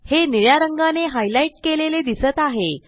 हे निळ्या रंगाने हायलाइट केलेले दिसत आहे